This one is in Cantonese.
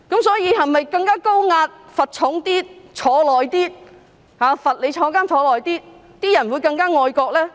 所以，是否更加高壓，罰則更重，監禁更長，人民便會更加愛國呢？